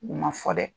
U ma fɔ dɛ